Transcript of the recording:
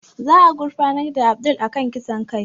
Za a gurfanar da Abdul a kan kisan kai